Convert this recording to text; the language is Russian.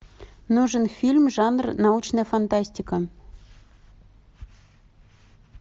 нужен фильм жанр научная фантастика